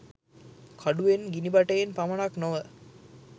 කඩුවෙන් ගිනිබටයෙන් පමණක් නොව